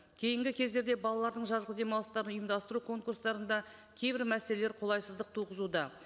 кейінгі кездерде балалардың жазғы демалыстарын ұйымдастыру конкурстарында кейбір мәселелер қолайсыздық туғызуда